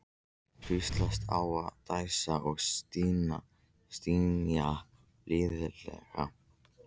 Hvíslast á og dæsa og stynja blíðlega.